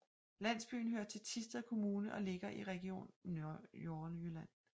Landsbyen hører til Thisted Kommune og ligger i Region Nordjylland